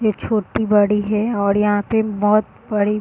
ये छोटी बड़ी हैऔर यहाँ पे बहुत बड़ी --